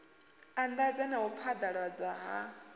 anḓadza na u phaḓaladzwa ha